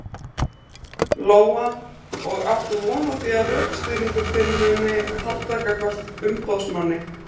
Lóa: Og áttu von á því að rökstuðningur þinn muni halda gagnvart umboðsmanni?